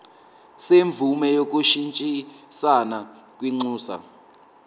semvume yokushintshisana kwinxusa